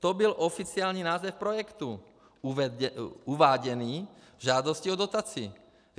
To byl oficiální název projektu uváděný v žádosti o dotaci.